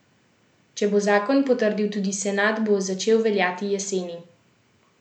Če bo zakon potrdil tudi senat, bo začel veljati jeseni.